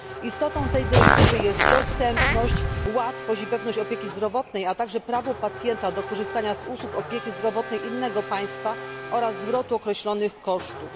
Istotą tej dyrektywy jest dostępność, łatwość i pewność opieki zdrowotnej, a także prawo pacjenta do korzystania z usług opieki zdrowotnej innego państwa oraz zwrotu określonych kosztów.